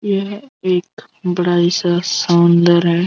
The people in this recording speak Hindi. यह एक सा सौंदर्य है।